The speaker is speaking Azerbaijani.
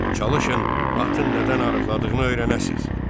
Çalışın atın nədən arıqladığını öyrənəsiz.